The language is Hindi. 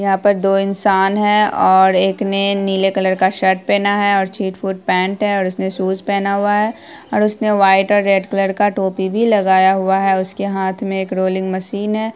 यहाँ पर दो इंसान है और एक ने नीले कलर का शर्ट पेहना है और छीट-फुट पैंट और उसने शूज पेहना हुआ है और उसने वाइट और रेड कलर का टोपी भी लगाया हुआ है उसके हाथ में एक रोलिंग मशीन है।